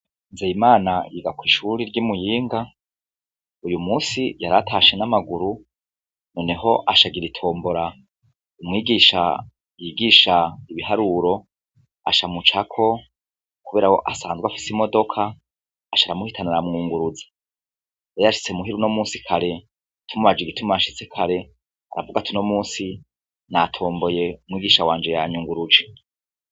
Nzee imana yiga kw'ishuri ry'imuyinga uyu musi ryaratashe n'amaguru, noneho ashagir itombora umwigisha yigisha ibiharuro ashamucako, kubera wo asanzwe afise imodoka asharamuhitana ra mwunguruzi yayashitse muhiru no musi kare tumbaje igituma ashitse kare aravuga atuno musi natomboye umwigisha wanje yanyu ngo uruje.